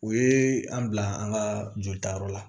O ye an bila an ka jolitayɔrɔ la